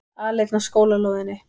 Aleinn á skólalóðinni.